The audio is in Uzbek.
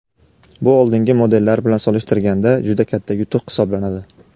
Bu oldingi modellar bilan solishtirganda juda katta yutuq hisoblanadi.